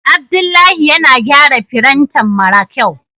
Abdullahi yana gyara firintan mara kyau.